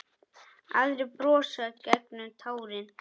Aðrir brosa gegnum tárin.